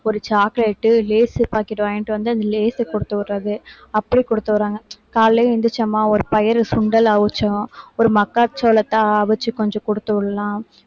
ஒரு chocolate Lay's packet வாங்கிட்டு வந்து அந்த லேஸ் கொடுத்து விடுறது அப்படி கொடுத்து விடுறாங்க காலையிலே எந்திரிச்சம்மா ஒரு பயிறு சுண்டல் அவிச்சோம் ஒரு மக்காச்சோளத்தை அவிச்சு கொஞ்சம் கொடுத்து விடலாம்